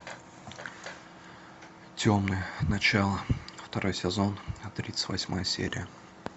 темные начала второй сезон тридцать восьмая серия